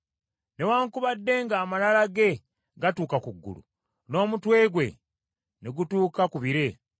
Newaakubadde ng’amalala ge gatuuka ku ggulu n’omutwe gwe ne gutuuka ku bire,